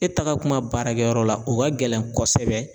E taga kuma baarakɛyɔrɔ la o ka gɛlɛn kosɛbɛ